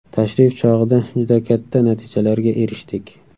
Tashrif chog‘ida juda katta natijalarga erishdik.